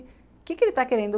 O que ele está querendo?